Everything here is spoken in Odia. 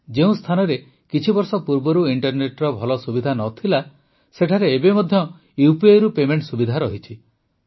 ଯେଉଁ ସ୍ଥାନରେ କିଛିବର୍ଷ ପୂର୍ବରୁ ଇଂଟରନେଟର ଭଲ ସୁବିଧା ନ ଥିଲା ସେଠାରେ ଏବେ ମଧ୍ୟ UPIରୁ ପେମେଂଟ ସୁବିଧା ରହିଛି